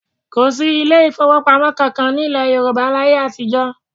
Kò sí ilé ìfowópamọ́ kankan ní ilẹ̀ Yorùbá ní ayé àtijọ́